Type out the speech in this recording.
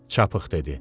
Çapıq dedi.